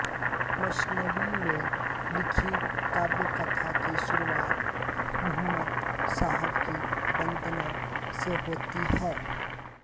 मसनबी में लिखी काव्य कथा की शुरुआत मुहम्मद साहब की वंदना से होती है